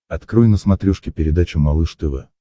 открой на смотрешке передачу малыш тв